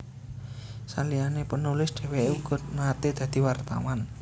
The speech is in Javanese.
Saliyané penulis dhèwèké uga naté dadi wartawan